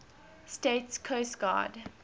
states coast guard